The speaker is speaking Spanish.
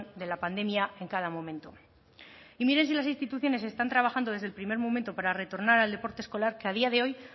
de la pandemia en cada momento y miren si las instituciones están trabajando desde el primer momento para retornar al deporte escolar que a día de hoy